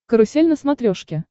карусель на смотрешке